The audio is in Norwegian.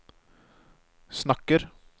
snakker